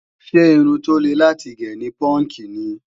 Ṣé irun tó le láti gé ni púúnkì ni?